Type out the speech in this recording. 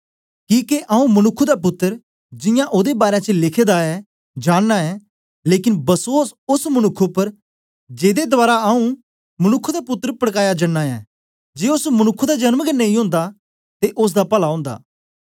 किके आऊँ मनुक्ख दा पुत्तर जियां ओदे बारै च लिखे दा ऐ जनदा गै लेकन बसोस ओस मनुक्ख उपर जेदे दवारा आऊँ मनुक्ख दा पुत्तर पड़काया जन्दा ऐ जे ओस मनुक्ख दा जन्म गै नेई ओंदा ते ओसदा पला ओंदा